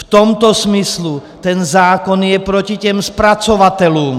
V tomto smyslu ten zákon je proti těm zpracovatelům.